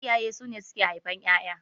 Iyaye sune auke haifar ƴaƴa